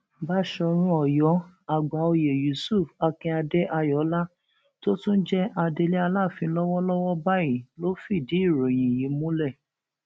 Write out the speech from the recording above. báṣọrun ọyọ àgbàòye yusuf akinade ayọọlá tó tún jẹ adelé aláàfin lọwọlọwọ báyìí ló fìdí ìròyìn yìí múlẹ